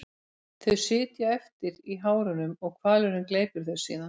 Þau sitja eftir í hárunum og hvalurinn gleypir þau síðan.